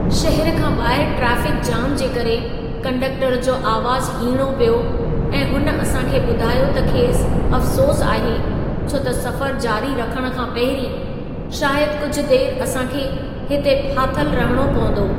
शहर खां ॿाहरि ट्रैफ़िक जाम जे करे, कंडक्टर जो अवाज़ु हीणो पियो ऐं हुन असां खे ॿुधायो त खेसि अफ़सोसु आहे छो त सफ़र जारी रखण खां पहिरीं शायदि कुझु देरि असां खे हिते फाथल रहणो पवंदो।